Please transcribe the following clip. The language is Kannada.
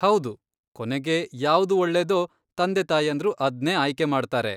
ಹೌದು, ಕೊನೆಗೆ ಯಾವ್ದು ಒಳ್ಳೇದೋ, ತಂದೆತಾಯಂದ್ರು ಅದ್ನೇ ಆಯ್ಕೆ ಮಾಡ್ತಾರೆ.